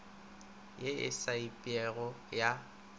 ye e sa emipego ya